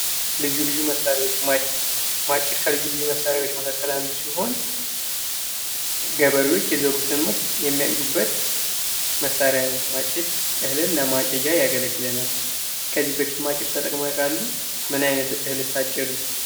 ልዩ ልዩ መሳሪያዎች ማጭድ ማጭድ ከልዩ ልዩ መሳሪያዎች አንዱ ሲሆን ገበሬዎች የዘሩትን ምርት የሚያጭዱበት መሳሪያ ነው። ማጭድ እህልን ለማጨጂያ ያገለግለናል። ከዚህ በፊት ማጭድ ተጠቅመው ያውቃሉ ምን አይነት እህልስ አጨዱ?